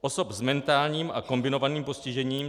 Osoby s mentálním a kombinovaným postižením.